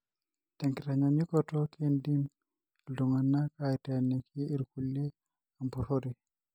tenkitanyanyukoto, kindim iltungana aiteniki ilkulie empurore.